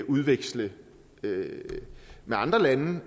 og udveksle med andre lande